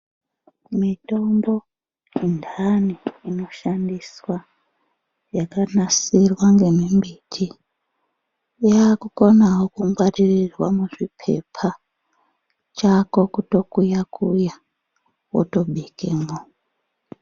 Mitombo yendani inoshandiswa yakanasirwa ngemimiti yakukonawo kungwarirwa muzvipepa, chako kutokuyaya wotobikemo